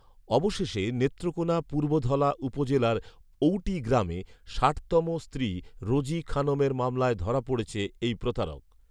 অবশেষে নেত্রকোনা পূর্বধলা উপজেলার ঔটি গ্রামে ষাটতম স্ত্রী রোজি খানমের মামলায় ধরা পড়েছে এই প্রতারক